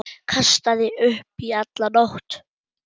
Kastaði upp í alla nótt.